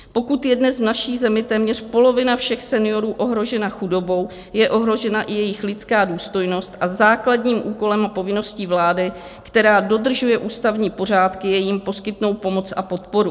Pokud je dnes v naší zemi téměř polovina všech seniorů ohrožena chudobou, je ohrožena i jejich lidská důstojnost a základním úkolem a povinností vlády, která dodržuje ústavní pořádky, je jim poskytnout pomoc a podporu.